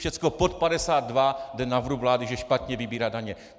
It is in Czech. Všechno pod 52 jde na vrub vlády, že špatně vybírá daně.